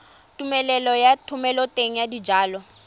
tumelelo ya thomeloteng ya dijalo